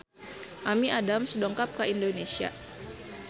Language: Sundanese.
Amy Adams dongkap ka Indonesia